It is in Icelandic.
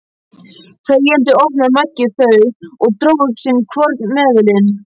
Þegjandi opnaði Maggi þau og dró upp sinn hvorn seðilinn.